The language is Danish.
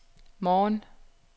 morgen